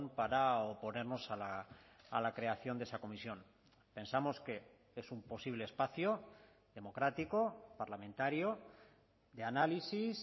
para oponernos a la creación de esa comisión pensamos que es un posible espacio democrático parlamentario de análisis